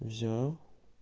взял